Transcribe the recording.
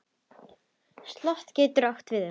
Slot getur átt við um